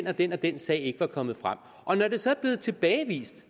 at den og den sag ikke var kommet frem når det så er blevet tilbagevist